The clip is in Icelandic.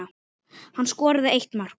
Hann skoraði eitt mark.